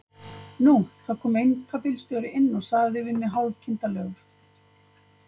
Nú, það kom einkabílstjóri inn og sagði við mig hálf kindarlegur